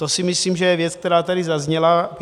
To si myslím, že je věc, která tady zazněla.